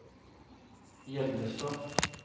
Hjellestad